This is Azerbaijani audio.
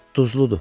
Duzludur.